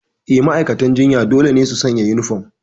Eh, ma'aikatan jinya dole ne su sanya uniform.